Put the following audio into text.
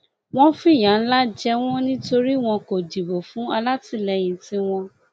wọn fìyà ńlá jẹ wọn nítorí wọn kò dìbò fún alátìlẹyìn tiwọn